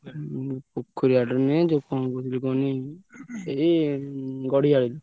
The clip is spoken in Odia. ଉଁ ପୋଖରୀ ଆଡୁ ନୁହେଁ ଯୋଉ କଣ କହୁଥିଲି କୁହନି ଏଇ ଗଡିଆରୁ।